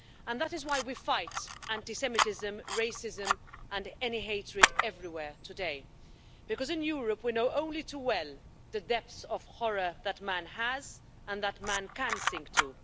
That is why we fight anti Semitism, racism and any hatred everywhere today, because in Europe we know only too well the depths of horror that man has sunk to and can sink to.